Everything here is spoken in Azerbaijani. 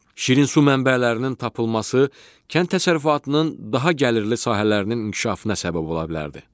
Şirinsu mənbələrinin tapılması kənd təsərrüfatının daha gəlirli sahələrinin inkişafına səbəb ola bilərdi.